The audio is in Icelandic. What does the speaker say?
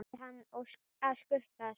Biðja hann að skutla sér?